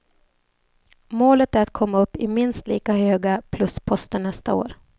Målet är att komma upp i minst lika höga plusposter nästa år.